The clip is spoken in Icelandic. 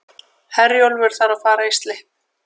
Herjólfur þarf að fara í slipp